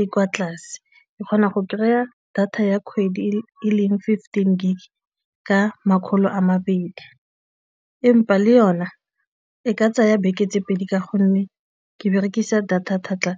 e kwa tlase e kgona go kry a data ya kgwedi e leng fifteen gig ka makgolo a mabedi empa le yona e ka tsaya beke tse pedi ka gonne ke berekisa data thata.